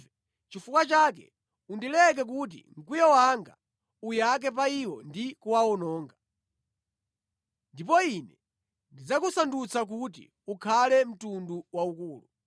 Chifukwa chake undileke kuti mkwiyo wanga uyake pa iwo ndi kuwawononga. Ndipo Ine ndidzakusandutsa kuti ukhale mtundu waukulu.”